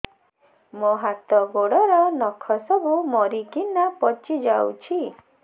ମୋ ହାତ ଗୋଡର ନଖ ସବୁ ମରିକିନା ପଚି ଯାଉଛି